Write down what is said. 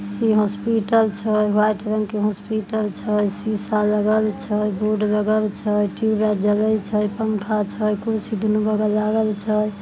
ये हॉस्पिटल छय वाइट रंग के हॉस्पिटल छय सिषा लगल छय बोर्ड लगल छय टुब लाइट जलय छय पंखा छय कुरसी दुनो बगल लाँगल छय--